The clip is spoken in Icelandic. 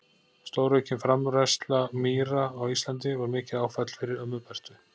Stóraukin framræsla mýra á Íslandi var mikið áfall fyrir ömmu Bertu.